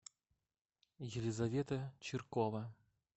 елизавета чиркова